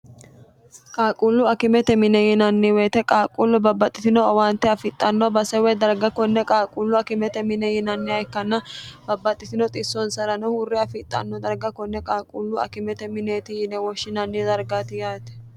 qaaquullu akimete mine yinanni woyite qaaquullu babbaxxitino owaante afixxanno base woy darga konne qaaquullu akimete mine yinanniha ikkanna babbaxxitino xissonsa'rano huurre afixxanno darga konne qaaquullu akimete mineeti yine woshshinanni dargati yaate